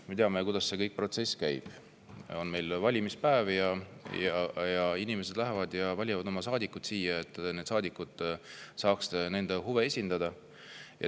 Me teame, kuidas see protsess käib: on valimispäev ning inimesed lähevad ja valivad saadikud siia, et need saadikud saaks nende huve esindada.